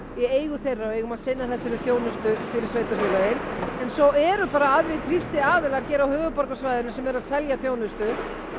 í eigu þeirra og eigum að sinna þessari þjónustu fyrir sveitarfélögin en svo eru bara aðrir þrýstiaðilar hér á höfuðborgarsvæðinu sem eru að selja þjónustu